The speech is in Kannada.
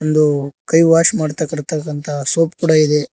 ಇದು ಕೈ ವಾಶ್ ಮಾಡ್ತಾಕಂತ ಸೋಪ್ ಕೂಡ ಇದೆ.